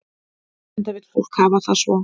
Enda vill fólk hafa það svo.